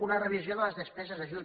una revisió de les despeses d’ajut